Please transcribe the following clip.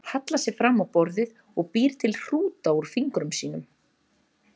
Hallar sér fram á borðið og býr til hrúta úr fingrum sínum.